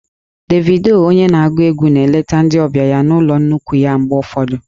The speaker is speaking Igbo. Davido onye na-agụ egwu na-eleta ndị ọbịa ya na ụlọ nnukwu ya mgbe ụfọdụ